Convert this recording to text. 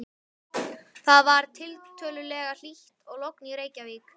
Það var tiltölulega hlýtt og logn í Reykjavík.